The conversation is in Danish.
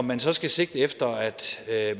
man så så sigte efter at